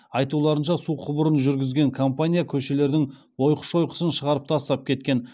айтуларынша су құбырын жүргізген компания көшелердің ойқы шойқысын шығарып тастап кеткен